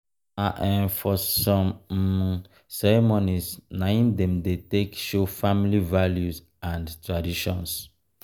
na um for some um ceremony na um im dem dey take show family values and traditions.